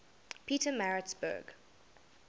pietermaritzburg